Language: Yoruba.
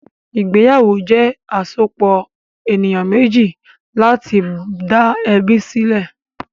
Ìgbéyàwó jẹ́ àsopọ̀ ènìyàn méjì láti dá ẹbí sílẹ̀.